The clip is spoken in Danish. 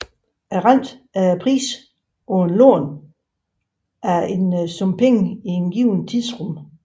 Renten er prisen på at låne en sum penge i et givet tidsrum